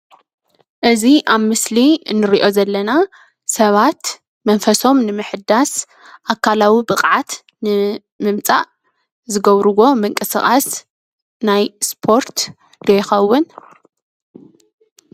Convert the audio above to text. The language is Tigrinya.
እዚ ኣብ ምስሊ እንርእዮ ዘለና ሰባት መንፈሶም ንምሕዳስ ኣካላዊ ብቕዓት ንምምፃእ ዝገብርዎ ምንቅስቓስ ናይ ስፖርት ዶ ይኸውን?